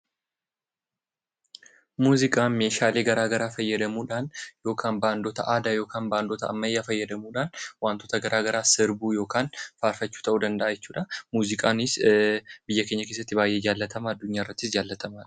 Muuziqaan meeshaalee garaagaraa fayyadamuudhaan yookaan baandota aadaa yookiin baandota ammayyaa fayyadamuudhaan wantoota garaagaraa sirbuu yookaan faarfachuu ta'uu danda'a jechuudha. Muuziqaanis biyya keenya keessatti addunyaa irrattis baay'ee jaallatamaadha .